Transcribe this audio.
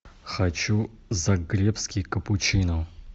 хочу загребский капучино